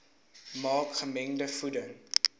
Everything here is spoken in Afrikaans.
maak gemengde voeding